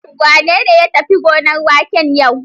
Wane ne ya tafi gonar wake yau?